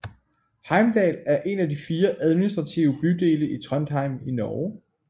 Heimdal er en af fire administrative bydele i Trondheim i Norge